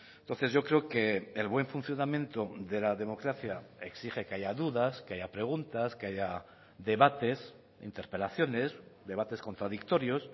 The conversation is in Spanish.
entonces yo creo que el buen funcionamiento de la democracia exige que haya dudas que haya preguntas que haya debates interpelaciones debates contradictorios